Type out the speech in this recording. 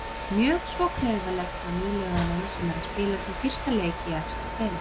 Mjög svo klaufalegt hjá nýliðanum sem er að spila sinn fyrsta leik í efstu deild.